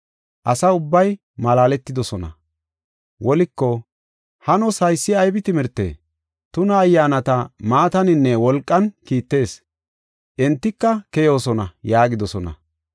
Asa ubbay malaaletidosona. Woliko, “Hanos, haysi aybi timirtee? Tuna ayyaanata maataninne wolqan kiittees; entika keyoosona” yaagidosona.